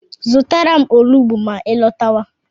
Zụtara m onugbu ma I lọtawa